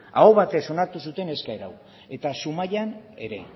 aho batez onartu zuten eskaera hau eta zumaian ere